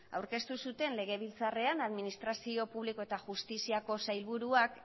aurkeztu zuten legebiltzarrean administrazio publiko eta justiziako sailburuak